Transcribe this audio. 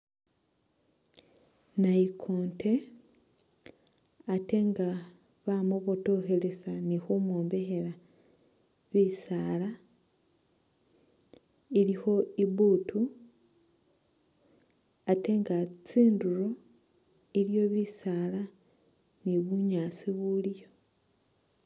Nayikonte atenga bamubotokhelesa ni khumwombekhela bisaala, ilikho ibutu atenga tsindulo iliyo bisaala ni bunyaasi buliyo.